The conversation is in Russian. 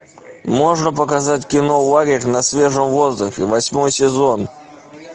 можно показать кино лагерь на свежем воздухе восьмой сезон